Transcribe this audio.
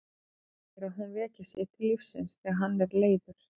Hann segir að hún veki sig til lífsins þegar hann er leiður.